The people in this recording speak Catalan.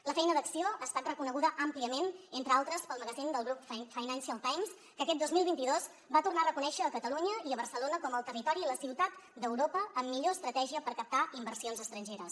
la feina d’acció ha estat reconeguda àmpliament entre altres pel magazín del grup financial times que aquest dos mil vint dos va tornar a reconèixer catalunya i barcelona com el territori i la ciutat d’europa amb millor estratègia per captar inversions estrangeres